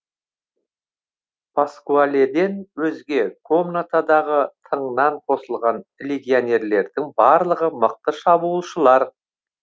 паскуаледен өзге комнатадағы тыңнан қосылған легионерлердің барлығы мықты шабуылшылар